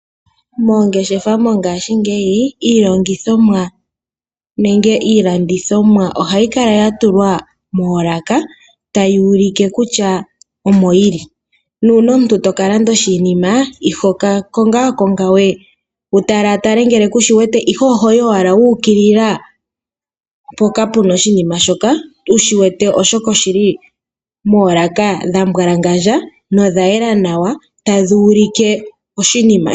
Moongeshefa mongashingeyi iilongithomwa nenge iilandithomwa ohayi kala ya tulwa moolaka tayi ulike kutya omo yili. Nuuna omuntu toka landa oshinima ihoka kongakongawe wu talatale ngele kushiwete ihe ohoyi owala wukilila mpoka puna oshinima shoka wu shi wete oshoka oshili moolaka dhambwalangandja nodha yela nawa tadhi ulike oshinima.